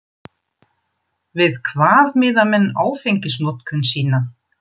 Við hvað miða menn áfengisnotkun sína?